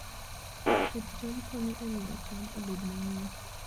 Pidh cham konyo e miyo cham obed mang'eny.